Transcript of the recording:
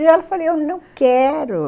E ela falou, eu não quero.